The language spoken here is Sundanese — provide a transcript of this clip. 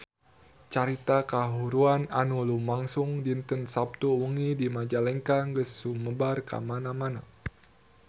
Carita kahuruan anu lumangsung dinten Saptu wengi di Majalengka geus sumebar kamana-mana